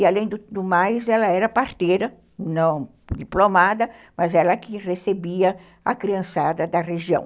E, além do do mais, ela era parteira, não diplomada, mas ela que recebia a criançada da região.